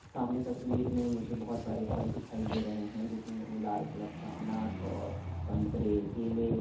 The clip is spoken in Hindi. सामने तस्वीर में मुझे बहुत सारे फल दिखाई दे रहे हैं। जिसमें मुझे लाल कलर का अनार और संतरे केले --